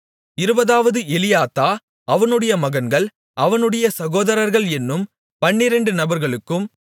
இருபதாவது எலியாத்தா அவனுடைய மகன்கள் அவனுடைய சகோதரர்கள் என்னும் பன்னிரெண்டு நபர்களுக்கும்